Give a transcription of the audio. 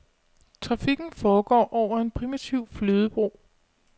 Trafikken foregår over en primitiv flydebro.